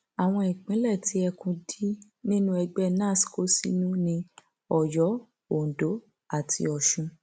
àwọn ìpínlẹ tí ẹkùn d nínú ẹgbẹ nans kó sínú ní ọyọ ondo àti ọsùn